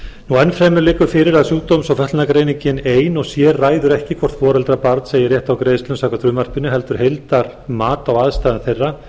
enn fremur liggur fyrir að sjúkdóms eða fötlunargreiningin ein og sér ræður ekki hvort foreldrar barns eiga rétt á greiðslum samkvæmt frumvarpinu heldur heildarmat á aðstæðum þeirra